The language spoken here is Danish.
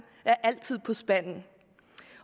altid er på spanden